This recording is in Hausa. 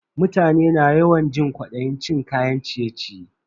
Mutane na yawan jin kwadayin cin kayan ciye-ciye.